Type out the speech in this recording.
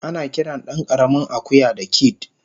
Anakiran dankaramin akuya da "kid"